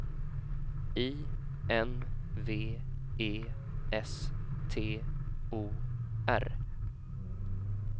I N V E S T O R